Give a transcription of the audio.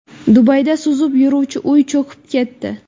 Dubayda suzib yuruvchi uy cho‘kib ketdi.